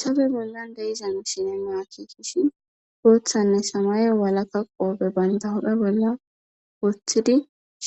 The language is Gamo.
Tabe bolla dayizan sinema kitishi goothanne samaye walaka qoobe bayndahoda bolla woththidi